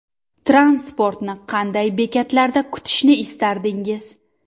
Transportni qanday bekatlarda kutishni istardingiz?